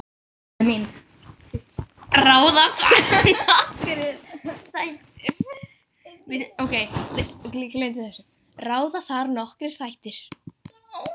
Ráða þar nokkrir þættir.